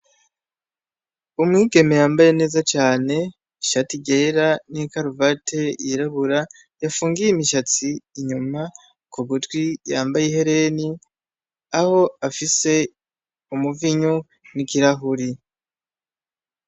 Umwigeme yambaye neza cane. Ishati ryera n'ikaruvati yirabura, yapfungiye imishatsi inyuma, ku gutwi yamaye ihereni, aho aho afise umuvinyu n'ikirahuri.